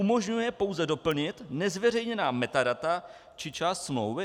Umožňuje pouze doplnit nezveřejněná metadata či část smlouvy?